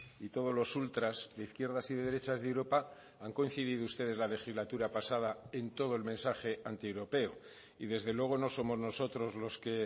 y todos los ultras de izquierdas y de derechas de europa han coincidido ustedes la legislatura pasada en todo el mensaje antieuropeo y desde luego no somos nosotros los que